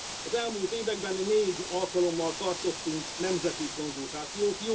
Az elmúlt években négy alkalommal tartottunk nemzeti konzultációt.